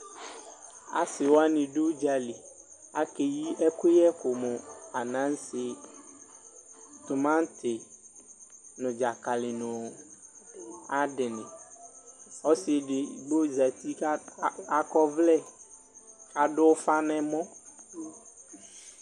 Asiwani dʋ udzaliAkeyi akuyɛ ku mu:Anase, timati, nu dzakali, nu ayadiniƆsi edigbo sati kakɔvlɛ, kadʋfanɛmɔ